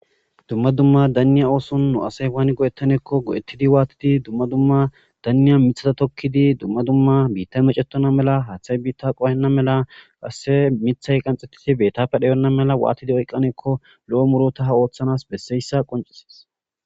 dumma dumma danniya ooson nu asay waani godettaneekko godettidi waatidi dumma dumma danniya mithada tokkidi dumma dumma biitta macetona mela haaththay biitta qohenna mela ase mithay qanxxetidi beettappe dheyonna mela waatidi oyqqaneekko lo7o murota ha ooththanas besseyssa qoncises